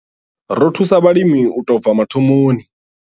Ri thusa vhalimi u tou bva mathomoni.